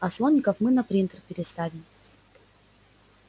а слоников мы на принтер переставим